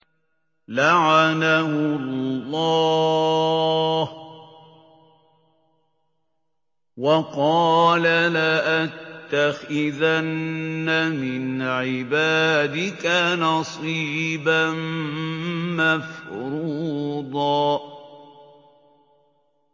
لَّعَنَهُ اللَّهُ ۘ وَقَالَ لَأَتَّخِذَنَّ مِنْ عِبَادِكَ نَصِيبًا مَّفْرُوضًا